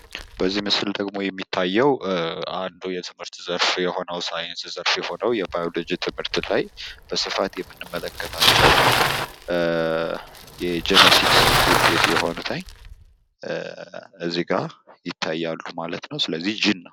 በዚህ ምስል ደግሞ የሚታየው አንዱ የትምህርት ዘርፍ የሆነው የሳይንስ ዘርፍ የሆነው የባዮሎጂ ትምህርት ላይ በስፋት የምንመለከታቸው የጀነቲክስ ውጤት የሆኑት እዚጋ ይታያሉ ማለት ነው። ስለዚህ ጂን ነው።